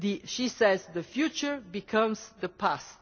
She says the future becomes the past'.